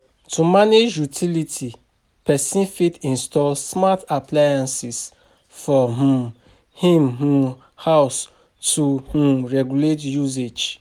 To manage utiility, person fit install smart appliances for um im um house to um regulate usage